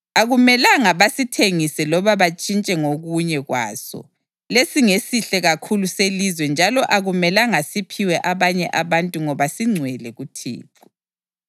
Akumelanga basithengise loba bantshintshe ngokunye kwaso. Lesi ngesihle kakhulu selizwe njalo akumelanga siphiwe abanye abantu ngoba singcwele kuThixo.